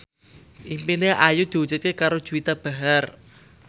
impine Ayu diwujudke karo Juwita Bahar